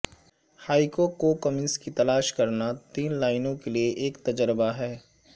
haiku کو کمنس کی تلاش کرنا تین لائنوں کے لئے ایک تجربہ ہے